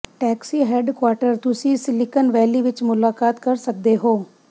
taxi headquarter ਤੁਸੀਂ Silicon Valley ਵਿੱਚ ਮੁਲਾਕਾਤ ਕਰ ਸਕਦੇ ਹੋ